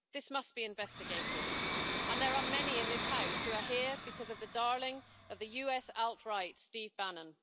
This must be investigated, and there are many in this House who are here because of the darling of the US alt right, Steve Bannon.